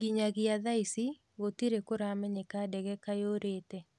Nginyagia thaa ici gũtĩri kuramenyeke ndege kayurĩte".